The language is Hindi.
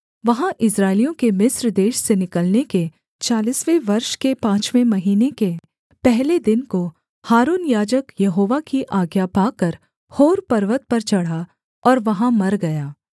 वहाँ इस्राएलियों के मिस्र देश से निकलने के चालीसवें वर्ष के पाँचवें महीने के पहले दिन को हारून याजक यहोवा की आज्ञा पाकर होर पर्वत पर चढ़ा और वहाँ मर गया